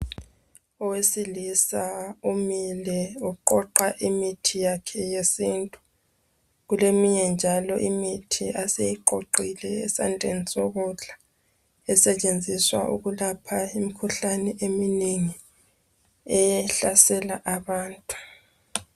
Owesilisa umile uqoqa imithi yakhe yesintu. Kuleminye njalo imithi aseyiqoqile esandleni sokudla. Esetshenziswa ukulapha imikhuhlane eminengi ehlasela abantu.